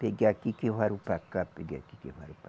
Peguei aqui que varou para cá, peguei aqui que varou para